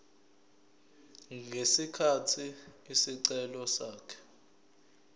ngesikhathi isicelo sakhe